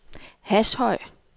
Hashøj